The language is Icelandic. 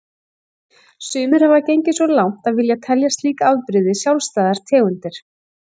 Sumir hafa gengið svo langt að vilja telja slík afbrigði sjálfstæðar tegundir.